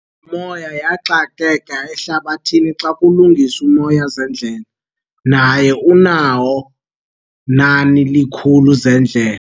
lo moya yaxakeka ehlabathini xa kulinganiswa moya zendlela, naye unayo nani likhulu zeendlela